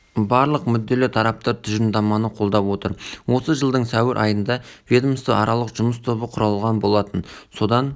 барлық мүдделі тараптар тұжырымдаманы қолдап отыр осы жылдың сәуір айында ведомствоаралық жұмыс тобы құрылған болатын содан